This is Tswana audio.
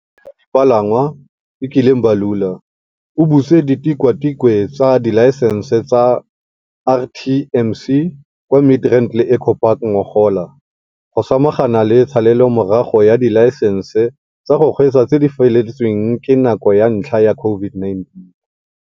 Tona ya Dipalangwa, Fikile Mbalula, o butse ditikwatikwe tsa dilaesense tsa RTMC kwa Midrand le Eco Park ngogola, go samagana le tshalelomorago ya dilaesense tsa go kgweetsa tse di feletsweng ke nako ka ntlha ya COVID-19.